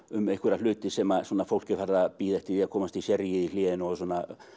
um einhverja hluti sem fólk er farið að bíða eftir því að komast í sérrí í hléi og svona